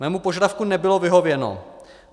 Mému požadavku nebylo vyhověno.